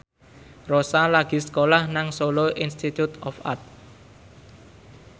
Rossa lagi sekolah nang Solo Institute of Art